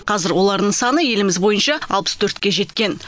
қазір олардың саны еліміз бойынша алпыс төртке жеткен